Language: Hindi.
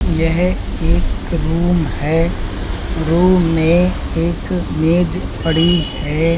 यह एक रूम है। रूम में एक मेज पड़ी है।